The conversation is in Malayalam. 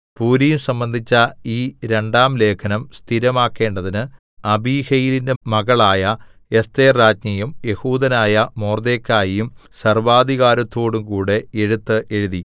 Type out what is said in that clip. പൂരീം സംബന്ധിച്ച ഈ രണ്ടാം ലേഖനം സ്ഥിരമാക്കേണ്ടതിന് അബീഹയീലിന്റെ മകളായ എസ്ഥേർരാജ്ഞിയും യെഹൂദനായ മൊർദെഖായിയും സർവ്വാധികാരത്തോടുംകൂടെ എഴുത്ത് എഴുതി